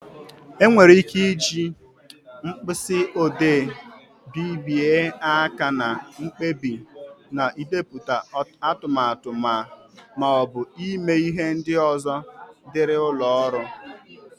E nwere ị́ké ịji mkpịsị odee bibye áká na mkpebi, n'idepụta atụmatụ maọbụ ịme ihe ndị ọzọ dịrị ụlọ ọrụ.